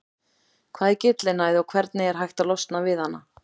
Hvað er gyllinæð og hvernig er hægt að losna við hana?